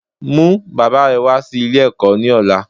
Mú bàbá re wá sí Ilé èkó ní ọ̀la